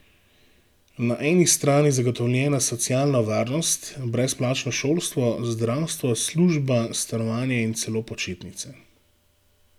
Na eni strani zagotovljena socialna varnost, brezplačno šolstvo, zdravstvo, služba, stanovanje in celo počitnice.